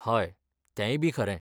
हय, तेंयबी खरें!